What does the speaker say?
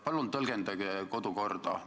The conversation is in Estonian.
Palun tõlgendage kodukorda!